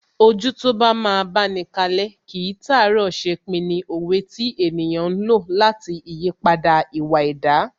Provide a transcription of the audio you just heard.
Ojú tó bá máa báni kalẹ́, kìí tàárọ̀ ṣepin ni òwe tí ènìyàn ń lò lati ìyípadà ìwà ẹ̀dá